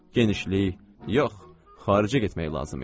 Genişlik, yox, xaricə getmək lazım idi.